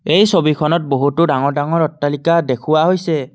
এই ছবিখনত বহুতো ডাঙৰ-ডাঙৰ অট্টালিকা দেখুওৱা হৈছে।